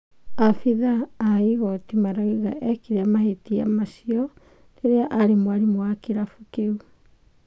Maabitha ma igoti marauga ekire mabĩtia acu rĩrĩrĩa ari mwarimu wa kĩrabu kĩu